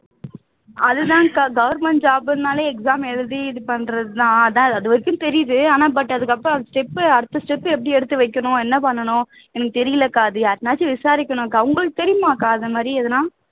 அது தான்கா government job ன்னாலே exam எழுதி இது பண்றதுதான் அதான் அது வரைக்கும் தெரியுது ஆனா but அதுக்கு அப்புறம் step அடுத்த step எப்படி எடுத்து வைக்கணும் என்ன பண்ணனும் எனக்கு தெரியலைக்கா அது யார்கிட்டையாவது விசாரிக்ணும்கா உங்களுக்கு தெரியுமாக்கா அது மாதிரி எதனா